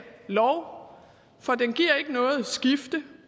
lov for den giver ikke noget skifte